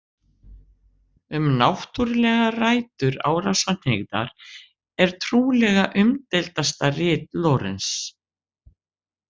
Um náttúrlegar rætur árásarhneigðar, er trúlega umdeildasta rit Lorenz.